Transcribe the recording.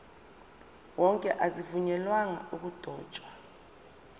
wonke azivunyelwanga ukudotshwa